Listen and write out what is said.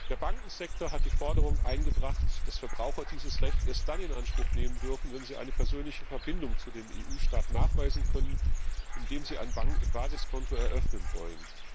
Der Bankensektor hat die Forderung eingebracht, dass Verbraucher dieses Recht erst dann in Anspruch nehmen dürfen, wenn sie eine persönliche Verbindung zu dem EU Staat nachweisen können, in dem sie ein Basiskonto eröffnen wollen.